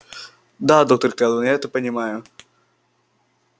да доктор кэлвин это я понимаю